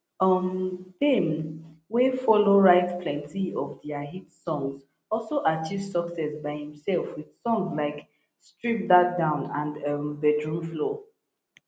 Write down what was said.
um payne wey follow write plenti of dia hit songs also achieve success by imself with songs like strip that down and um bedroom floor